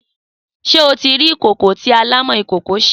Sé o ti ri ikókó ti àlámõ ikókó se?